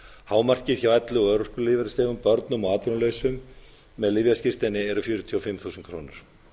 hámarkið hjá elli og örorkulífeyrisþegum börnum á atvinnulausum með lyfjaskírteini eru fjörutíu og fimm þúsund krónur